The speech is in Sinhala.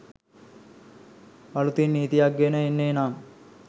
අළුතින් නීතියක් ගෙන එන්නේ නම්